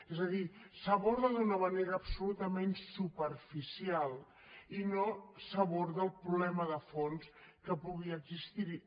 és a dir s’aborda d’una manera absolutament superficial i no s’aborda el problema de fons que pugui existir hi